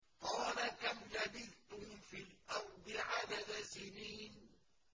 قَالَ كَمْ لَبِثْتُمْ فِي الْأَرْضِ عَدَدَ سِنِينَ